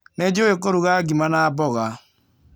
Nĩ njũĩ kũruga ngima na mboga.